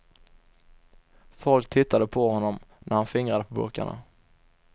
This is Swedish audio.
Folk tittade på honom när han fingrade på burkarna.